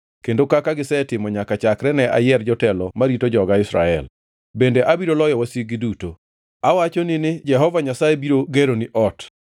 kendo kaka gisetimo nyaka chakre ne ayier jotelo marito joga Israel. Bende abiro loyo wasiki duto. “ ‘Awachoni ni Jehova Nyasaye biro geroni ot: